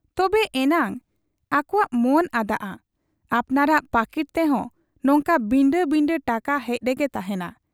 ᱛᱚᱵᱮ ᱮᱱᱟᱝ ᱟᱠᱚᱣᱟᱜ ᱢᱚᱱ ᱟᱫᱟᱜ ᱟ, ᱟᱯᱱᱟᱨᱟᱜ ᱯᱟᱹᱠᱤᱴ ᱛᱮᱦᱚᱸ ᱱᱚᱝᱠᱟ ᱵᱤᱸᱰᱟᱹ ᱵᱤᱸᱰᱟᱹ ᱴᱟᱠᱟ ᱦᱮᱡ ᱨᱮᱜᱮ ᱛᱟᱦᱮᱸᱱᱟ ᱾